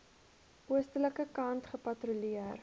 oostelike kant gepatrolleer